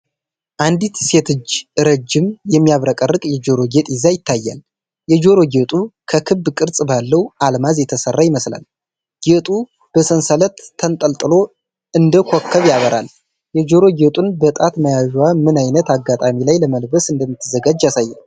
አንዲት ሴት እጅ ረጅም፣ የሚያብረቀርቅ የጆሮ ጌጥ ይዛ ይታያል፤ የጆሮ ጌጡ ከክብ ቅርጽ ባለው አልማዝ የተሠራ ይመስላል። ጌጡ በሰንሰለት ተንጠልጥሎ እንደ ኮከብ ያበራል። የጆሮ ጌጡን በጣት መያዟ ምን ዓይነት አጋጣሚ ላይ ለመልበስ እንደምትዘጋጅ ያሳያል?